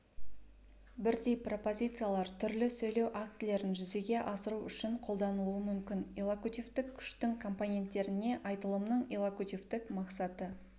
бірдей пропозициялар түрлі сөйлеу актілерін жүзеге асыру үшін қолданылуы мүмкін иллокутивтік күштің компоненттеріне айтылымның иллокутивтік мақсаты